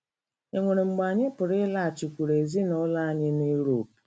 E nwere mgbe anyị pụrụ ịlaghachikwuru ezinụlọ anyị na Uropu.